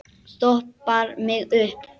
Stoppar mig upp?